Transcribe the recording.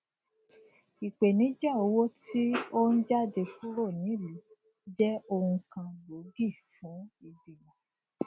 ipenija owo ti o n jade kuro niluu je ohun kan gboogi fun igbimo